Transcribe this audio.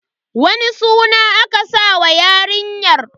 Wani suna aka sa wa yarinyar?